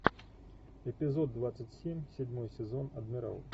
эпизод двадцать семь седьмой сезон адмирал